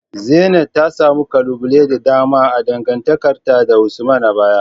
Zeenat ta samu kalubale da dama a dangantakarta da Usman a baya.